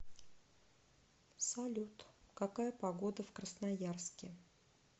салют какая погода в красноярске